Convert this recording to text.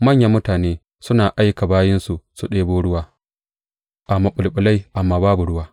Manyan mutane suna aika bayinsu su ɗebo ruwa a maɓulɓulai amma babu ruwa.